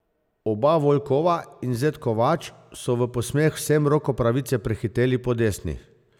Oba Volkova in zet Kovač so v posmeh vsem roko pravice prehiteli po desni.